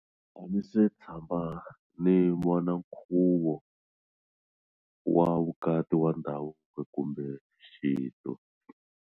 A ndzi se tshama ni vona nkhuvo wa vukati wa ndhavuko kumbe xintu.